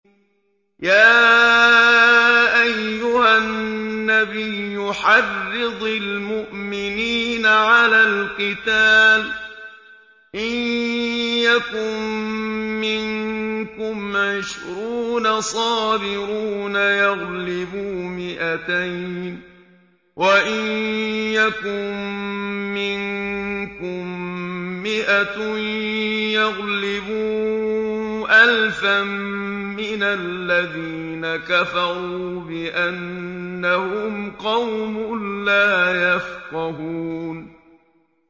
يَا أَيُّهَا النَّبِيُّ حَرِّضِ الْمُؤْمِنِينَ عَلَى الْقِتَالِ ۚ إِن يَكُن مِّنكُمْ عِشْرُونَ صَابِرُونَ يَغْلِبُوا مِائَتَيْنِ ۚ وَإِن يَكُن مِّنكُم مِّائَةٌ يَغْلِبُوا أَلْفًا مِّنَ الَّذِينَ كَفَرُوا بِأَنَّهُمْ قَوْمٌ لَّا يَفْقَهُونَ